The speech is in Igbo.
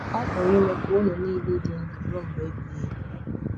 Ọ pụrụ ime ka ụnụ nile ịdị ndụ ruo mgbe ebighị ebi!